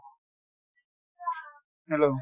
hello